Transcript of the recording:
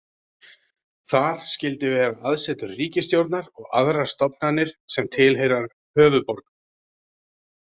Þar skyldi vera aðsetur ríkisstjórnar og aðrar stofnanir sem tilheyra höfuðborgum.